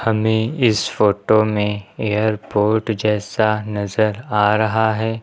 हमें इस फोटो में एयरपोर्ट जैसा नजर आ रहा है।